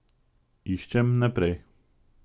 Iščem naprej.